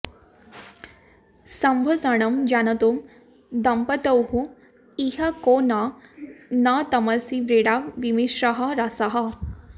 सम्भाषणैः जानतोः दम्पत्योः इह को न को न तमसि व्रीडा विमिश्रः रसः